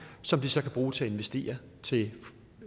som de så kan bruge til at investere